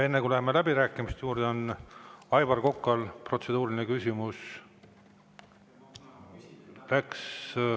Enne kui läheme läbirääkimiste juurde, on Aivar Kokal protseduuriline küsimus.